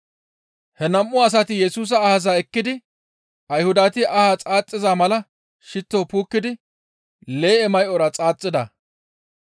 He nam7u asati Yesusa ahaza ekkidi Ayhudati ahaa xaaxiza mala shitto puukkidi lee7e may7ora xaaxida.